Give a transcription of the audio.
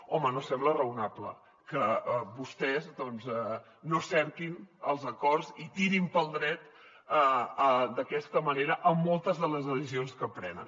home no sembla raonable que vostès doncs no cerquin els acords i tirin pel dret d’aquesta manera en moltes de les decisions que prenen